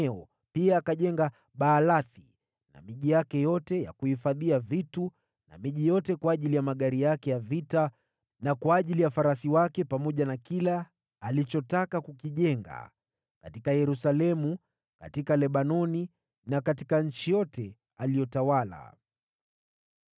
Solomoni pia akajenga Baalathi na miji yake yote ya kuhifadhia vitu, na miji kwa ajili ya magari yake na kwa ajili ya farasi wake, chochote alichotaka kujenga katika Yerusalemu, katika Lebanoni na katika nchi yote aliyotawala.